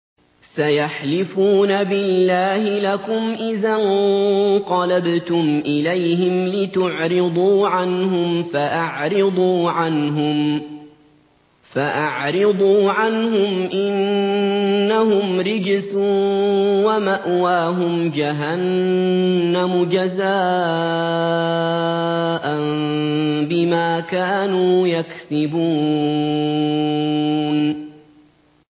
سَيَحْلِفُونَ بِاللَّهِ لَكُمْ إِذَا انقَلَبْتُمْ إِلَيْهِمْ لِتُعْرِضُوا عَنْهُمْ ۖ فَأَعْرِضُوا عَنْهُمْ ۖ إِنَّهُمْ رِجْسٌ ۖ وَمَأْوَاهُمْ جَهَنَّمُ جَزَاءً بِمَا كَانُوا يَكْسِبُونَ